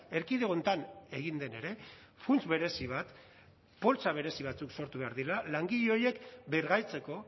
erkidego honetan egin den ere funts berezi bat poltsa berezi batzuk sortu behar direla langile horiek bergaitzeko